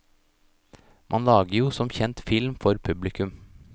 Man lager jo som kjent film for publikum.